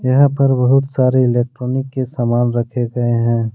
यहां पर बहुत सारे इलेक्ट्रॉनिक के सामान रखे गए हैं।